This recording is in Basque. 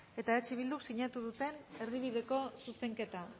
eta eh bilduk sinatu duten erdibideko zuzenketa